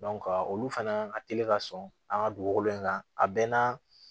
olu fana ka teli ka sɔn an ka dugukolo in kan a bɛɛ n'a